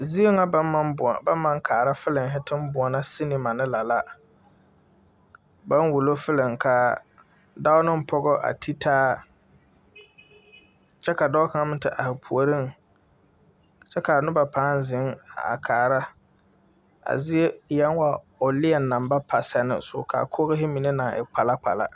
Sine la kyɛ bee sine zue la ka nobɔ mine gaa a te zèŋ a kaara a sine ba naŋ ire a teevi zu a sine pãã ba naŋ ire dɔɔ kaŋ neŋ pɔgɔ are la be a te taa nuure pãã are kaara taa nimisugɔŋ.